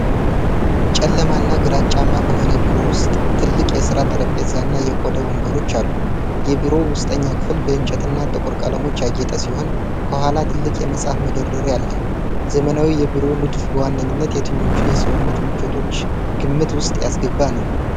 ጨለማና ግራጫማ በሆነ ቢሮ ውስጥ፣ ትልቅ የሥራ ጠረጴዛና የቆዳ ወንበሮች አሉ። የቢሮው ውስጠኛው ክፍል በእንጨትና ጥቁር ቀለሞች ያጌጠ ሲሆን፣ ከኋላ ትልቅ የመጽሐፍ መደርደሪያ አለ። ዘመናዊ የቢሮ ንድፍ በዋነኝነት የትኞቹን የሰውነት ምቾቶች ግምት ውስጥ ያስገባ ነው?